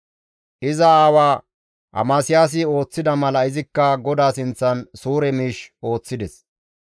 Iza aawa Amasiyaasi ooththida mala izikka GODAA sinththan suure miish ooththides.